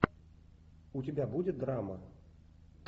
у тебя будет драма